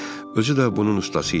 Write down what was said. Özü də bunun ustası idi.